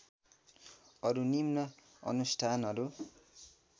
अरू निम्न अनुष्ठानहरू